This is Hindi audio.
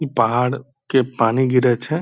ई पहाड़ के पानी गिरै छे।